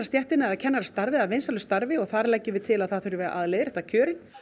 kennarastarfið að vinsælu starfi og þar leggjum við til að það þurfi að leiðrétta kjörin